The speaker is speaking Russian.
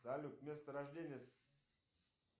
салют место рождения